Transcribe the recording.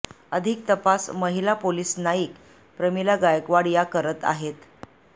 अधिक तपास महिला पोलीस नाईक प्रमिला गायकवाड या करीत आहेत